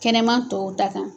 Kɛnɛma tɔw ta kan.